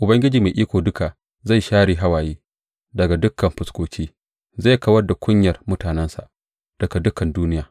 Ubangiji Mai Iko Duka zai share hawaye daga dukan fuskoki; zai kawar da kunyar mutanensa daga dukan duniya.